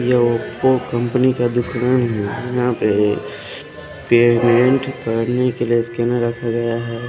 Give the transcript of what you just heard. लोको company का दुकान है यहां पे ये पेमेंट भरने के लिए स्कैनर रखा गया है।